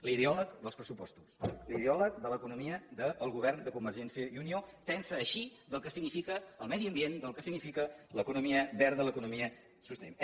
l’ideòleg dels pressupostos l’ideòleg de l’economia del govern de convergència i unió pensa així del que significa el medi ambient del que significa l’economia verda l’economia sostenible